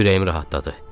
Ürəyim rahatladı.